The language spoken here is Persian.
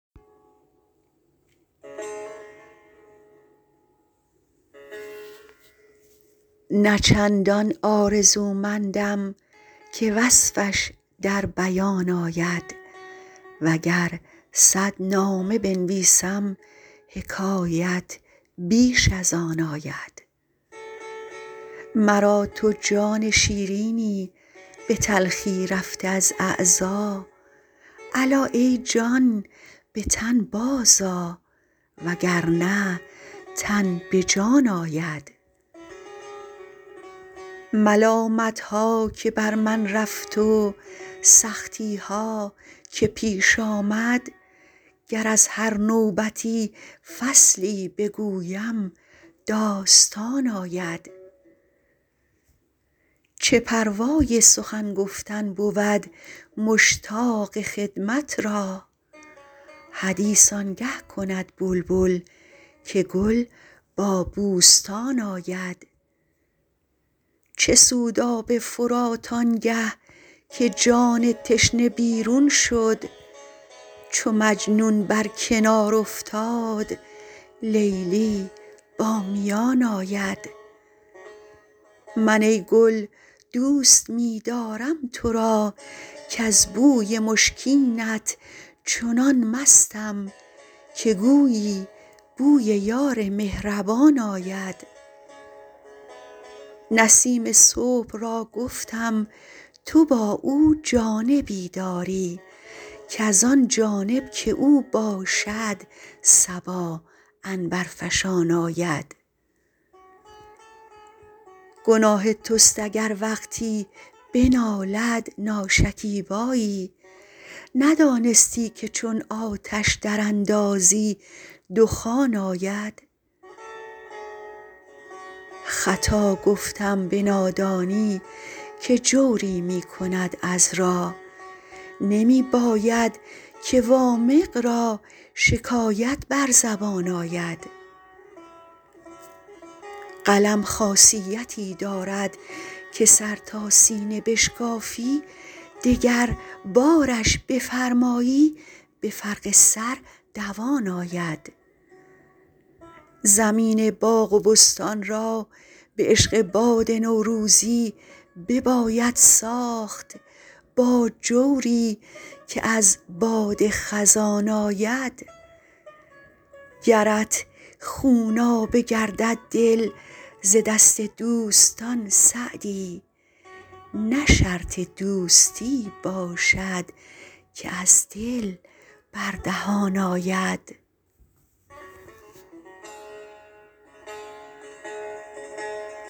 نه چندان آرزومندم که وصفش در بیان آید و گر صد نامه بنویسم حکایت بیش از آن آید مرا تو جان شیرینی به تلخی رفته از اعضا الا ای جان به تن بازآ و گر نه تن به جان آید ملامت ها که بر من رفت و سختی ها که پیش آمد گر از هر نوبتی فصلی بگویم داستان آید چه پروای سخن گفتن بود مشتاق خدمت را حدیث آن گه کند بلبل که گل با بوستان آید چه سود آب فرات آن گه که جان تشنه بیرون شد چو مجنون بر کنار افتاد لیلی با میان آید من ای گل دوست می دارم تو را کز بوی مشکینت چنان مستم که گویی بوی یار مهربان آید نسیم صبح را گفتم تو با او جانبی داری کز آن جانب که او باشد صبا عنبرفشان آید گناه توست اگر وقتی بنالد ناشکیبایی ندانستی که چون آتش دراندازی دخان آید خطا گفتم به نادانی که جوری می کند عذرا نمی باید که وامق را شکایت بر زبان آید قلم خاصیتی دارد که سر تا سینه بشکافی دگربارش بفرمایی به فرق سر دوان آید زمین باغ و بستان را به عشق باد نوروزی بباید ساخت با جوری که از باد خزان آید گرت خونابه گردد دل ز دست دوستان سعدی نه شرط دوستی باشد که از دل بر دهان آید